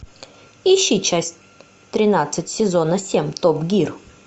ищи часть тринадцать сезона семь топ гир